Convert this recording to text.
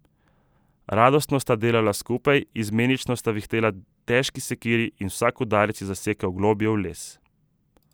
Radostno sta delala skupaj, izmenično sta vihtela težki sekiri in vsak udarec je zasekal globlje v les.